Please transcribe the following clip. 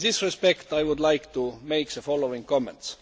In this context, I would like to make the following comments.